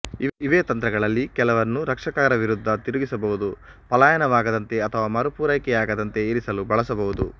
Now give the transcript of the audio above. ಇವೇ ತಂತ್ರಗಳಲ್ಲಿ ಕೆಲವನ್ನು ರಕ್ಷಕರ ವಿರುದ್ಧ ತಿರುಗಿಸಬಹುದು ಪಲಾಯನವಾಗದಂತೆ ಅಥವಾ ಮರುಪೂರೈಕೆ ಆಗದಂತೆ ಇರಿಸಲು ಬಳಸಬಹುದು